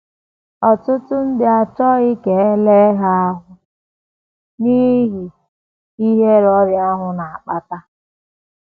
Ọtụtụ ndị achọghị ka e lee ha lee ha ahụ́ n’ihi ihere ọrịa ahụ na - akpata.